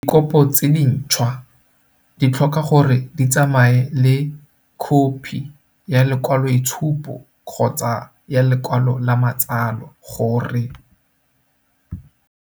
Dikopo tse dintšhwa di tlhoka gore di tsamaye le khophi ya lekwaloitshupo kgotsa ya lekwalo la matsalo gore.